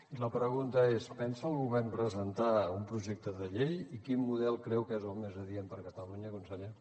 i la pregunta és pensa el govern presentar un projecte de llei i quin model creu que és el més adient per catalunya conseller